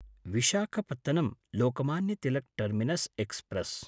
Visakhapatnam Lokmanya Tilak terminus express